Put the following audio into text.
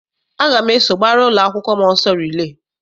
Aga m eso gbara ụlọakwụkwọ m ọsọ rilee.